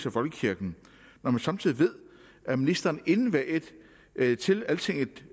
af folkekirken når man samtidig ved at ministeren inden valget til altingetdk